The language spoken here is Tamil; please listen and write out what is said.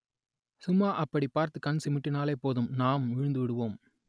சும்மா அப்படி பார்த்து கண் சிமிட்டினாலே போதும் நாம் விழுந்துவிடுவோம்